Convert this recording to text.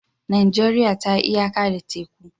Najeriya ta yi iyaka da teku.